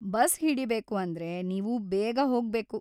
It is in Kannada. ಬಸ್‌ ಹಿಡಿಬೇಕು ಅಂದ್ರೆ ನೀವು ಬೇಗ ಹೋಗ್ಬೇಕು.